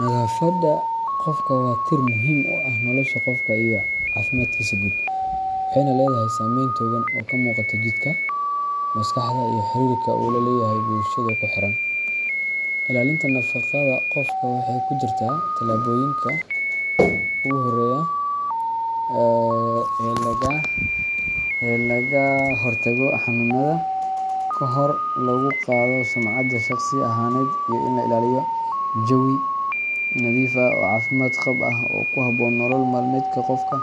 Nadaafadda qofka waa tiir muhiim u ah nolosha qofka iyo caafimaadkiisa guud, waxayna leedahay saameyn togan oo ka muuqata jidhka, maskaxda, iyo xiriirka uu la leeyahay bulshada ku xeeran. Ilaalinta nadaafadda qofka waxay ku jirtaa talaabooyinka ugu horeeya ee looga hortago xanuunnada, kor loogu qaado sumcadda shakhsi ahaaneed, iyo in la ilaaliyo jawi nadiif ah oo caafimaad qab ah oo ku habboon nolol maalmeedka qofka.